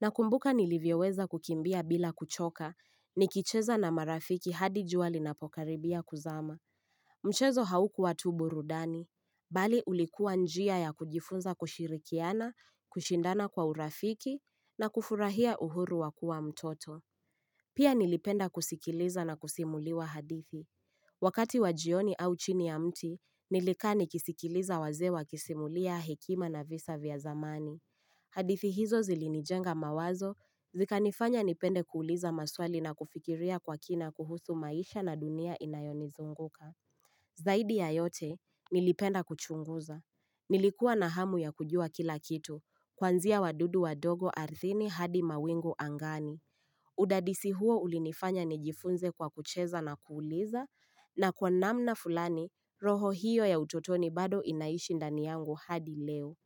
nakumbuka nilivyoweza kukimbia bila kuchoka, nikicheza na marafiki hadi jua linapokaribia kuzama. Mchezo haukuwa tu burudani, bali ulikuwa njia ya kujifunza kushirikiana, kushindana kwa urafiki na kufurahia uhuru wa kua mtoto. Pia nilipenda kusikiliza na kusimuliwa hadithi. Wakati wa jioni au chini ya mti, nilikaa nikisikiliza wazee wakisimulia hekima na visa vya zamani. Hadithi hizo zilinijenga mawazo, zikanifanya nipende kuuliza maswali na kufikiria kwa kina kuhusu maisha na dunia inayonizunguka. Zaidi ya yote, nilipenda kuchunguza. Nilikuwa na hamu ya kujua kila kitu, kuanzia wadudu wadogo ardhini hadi mawingu angani. Udadisi huo ulinifanya nijifunze kwa kucheza na kuuliza na kwa namna fulani roho hiyo ya utotoni bado inaishi ndani yangu hadi leo.